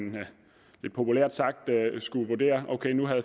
lidt populært sagt skulle vurdere om